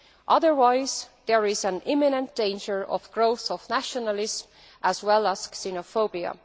Otherwise there is an imminent danger of growing nationalism as well as xenophobia.